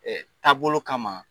Taabolo kama